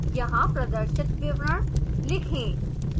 यहाँ प्रदर्शित विवरण लिखें